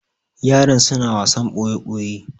yaran suna wasan boye boye